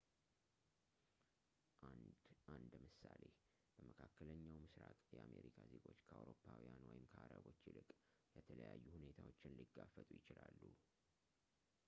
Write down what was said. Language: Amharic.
አንደ አንድ ምሳሌ በመካከለኛው ምሥራቅ የአሜሪካ ዜጎች ከአውሮፓውያን ወይም ከአረቦች ይልቅ የተለዩ ሁኔታዎችን ሊጋፈጡ ይችላሉ